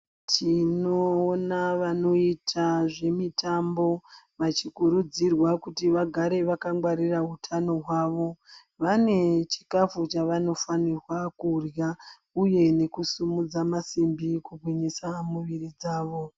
Tinoona vanoita zve mitambo vachi kurudzirwa kuti vagare vaka gwarira utano hwavo vane chikafu chaano fanira kurya uye ne kusimudza masimbi ku gwinyisa muviri dzavo.